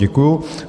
Děkuju.